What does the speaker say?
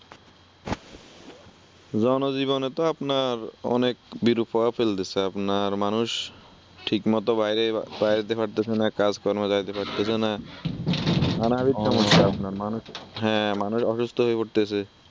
জনজীবনে তো আপনার অনেক বিরূপ প্রভাব ফেলতেছে । আপনার মানুষ ঠিকমতো বাইরে বাইর হইতে পারতেছে না, কাজকর্মে যাইতে পারতেছে না । ঠান্ডার ভিতর আপনার মানুষ অসুস্থ হয়ে পড়তেসে ।